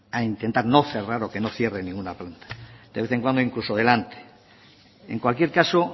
a intentar no cerrar o que no cierre ninguna planta de vez en cuando incluso delante en cualquier caso